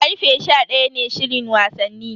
Karfe sha daya ne shirin wasanni.